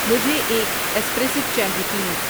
مجھے ایک ایسپریسو چاہیئے پلیز